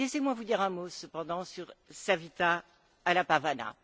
Laissez moi vous dire un mot, cependant, sur Savita Halappavanar.